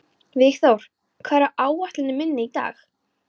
Vígþór, hvað er á áætluninni minni í dag?